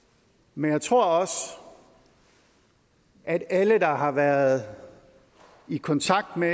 men jeg tror også at alle der har været i kontakt med